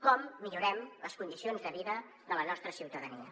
com millorem les condicions de vida de la nostra ciutadania